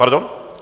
Pardon?